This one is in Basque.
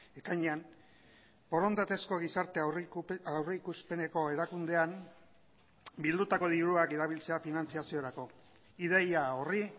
ekainean borondatezko gizarte aurrikuspeneko erakundean bildutako diruak erabiltzea finantzaziorako ideia horri